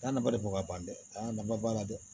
Taa nafa de bɔ ka ban dɛ a nafa b'a la dɛ